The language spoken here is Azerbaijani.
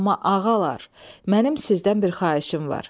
Amma ağalar, mənim sizdən bir xahişim var.